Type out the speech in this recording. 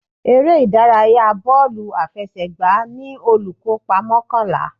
Eré ìdárayá bọ́ọ̀lù àfẹsẹ̀gbá ní olùkópa mọ́kànlá.